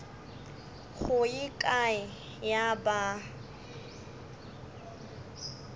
go ye kae ya ba